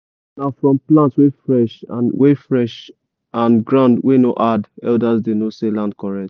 na from plant wey fresh and wey fresh and ground wey no hard elders dey know say land correct.